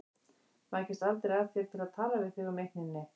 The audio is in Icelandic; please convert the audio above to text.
Maður kemst aldrei að þér til að tala við þig um eitt né neitt.